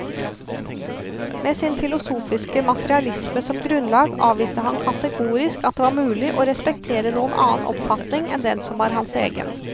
Med sin filosofiske materialisme som grunnlag avviste han kategorisk at det var mulig å respektere noen annen oppfatning enn den som var hans egen.